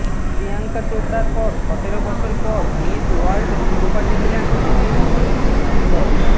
প্রিয়ঙ্কা চোপড়ার পর সতেরো বছর পর মিস ওয়ার্ল্ড শিরোপা জিতলেন দিল্লির মানুষী ছিল্লর